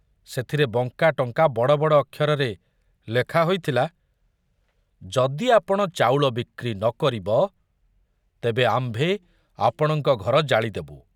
ସେଥରେ ବଙ୍କାଟଙ୍କା ବଡ଼ ବଡ଼ ଅକ୍ଷରରେ ଲେଖା ହୋଇଥିଲା ଯଦି ଆପଣ ଚାଉଳ ବିକ୍ରି ନ କରିବ, ତେବେ ଆମ୍ଭେ ଆପଣଙ୍କ ଘର ଜାଳି ଦବୁ।